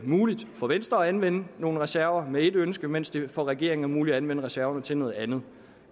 muligt for venstre at anvende nogle reserver med ét ønske mens det for regeringen er muligt at anvende reserverne til noget andet